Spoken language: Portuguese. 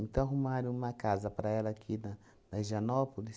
Então, arrumaram uma casa para ela aqui na na Higienópolis.